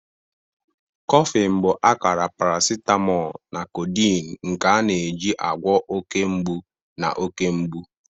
Coffin bụ akara paracetamol na codeine, nke a na-eji agwọ oke mgbu na oke mgbu.